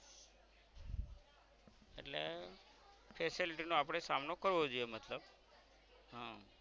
એટલે facility નો આપણે સામનો કરવો જોઇયે મતલબ હમ